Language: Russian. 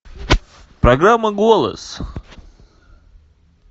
программа голос